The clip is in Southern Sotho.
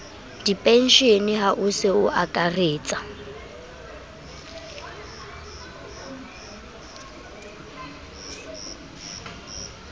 dipenshene a ho se akaretse